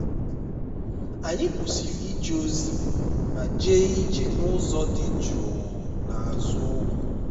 anyị kwụsịrị ije ozi ma jee ije n'ụzọ dị jụụ n'azụ ugwu